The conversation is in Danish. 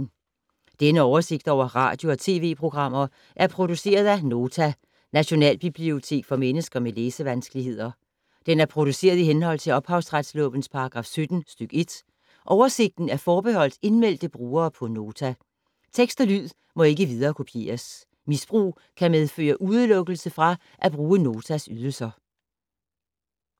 Denne oversigt over radio og TV-programmer er produceret af Nota, Nationalbibliotek for mennesker med læsevanskeligheder. Den er produceret i henhold til ophavsretslovens paragraf 17 stk. 1. Oversigten er forbeholdt indmeldte brugere på Nota. Tekst og lyd må ikke viderekopieres. Misbrug kan medføre udelukkelse fra at bruge Notas ydelser.